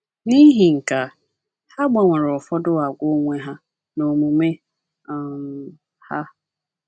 N’ihi nke a, ha gbanwere ụfọdụ àgwà onwe ha na omume um ha.